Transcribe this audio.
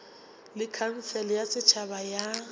le khansele ya setšhaba ya